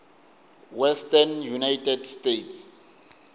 western united states